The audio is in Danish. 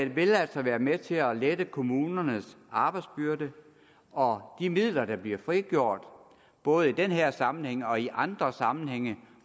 vil altså være med til at lette kommunernes arbejdsbyrde og de midler der bliver frigjort både i den her sammenhæng og i andre sammenhænge